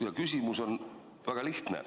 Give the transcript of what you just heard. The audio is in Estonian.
" Ja küsimus on väga lihtne.